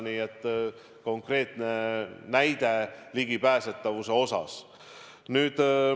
Nii et konkreetne näide ligipääsetavuse kohta.